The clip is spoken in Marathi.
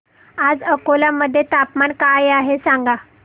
आज अकोला मध्ये तापमान काय आहे सांगा